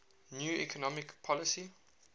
new economic policy